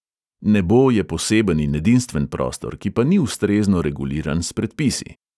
Nebo je poseben in edinstven prostor, ki pa ni ustrezno reguliran s predpisi.